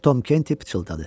Tom Kenti pıçıldadı.